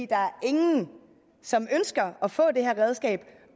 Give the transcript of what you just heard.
er ingen som ønsker at få det her redskab